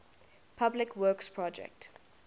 public works projects